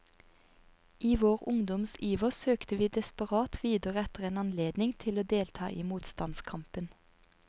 I vår ungdoms iver søkte vi desperat videre etter en anledning til å delta i motstandskampen.